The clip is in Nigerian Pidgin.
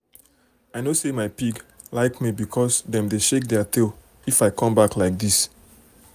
i know say my pig um like me because dem dey shake um their tail if i come back um like this.